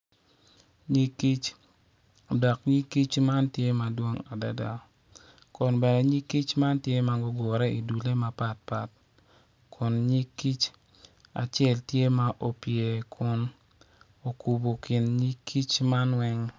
Nyig kic dok nyig kic man tye madwong adada kun bene nyig kic man tye ma odure i dulle mapatpat kun nyig kic acel tye ma opye kun okubo kin nyig kic man weng.